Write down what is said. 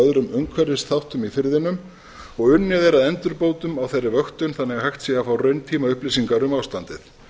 öðrum umhverfisþáttum í firðinum og unnið er að endurbótum á þeirri vöktun þannig að hægt sé að fá rauntímaupplýsingar um ástandið